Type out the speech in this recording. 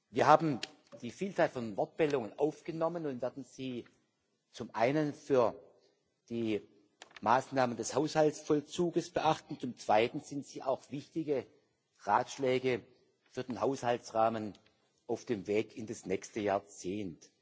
Wir haben die Vielzahl von Wortmeldungen aufgenommen und werden sie zum einen für die Maßnahmen des Haushaltsvollzugs beachten, zum Zweiten sind sie auch wichtige Ratschläge für den Haushaltsrahmen auf dem Weg in das nächste Jahrzehnt.